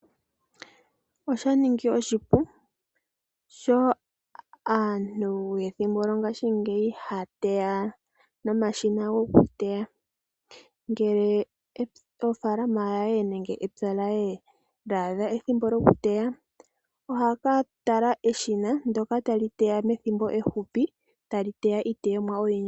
Osha ninga oshipu sho aantu yomethimbo lyongaashingeyi haya teya nomashina gokuteya ngele ofalama nenge epya lye lya adha ethimbo lyokuteya, ohaya ka tala eshina ndyoka tali teya methimbo ehupi tali teya iiteyomwa oyindji.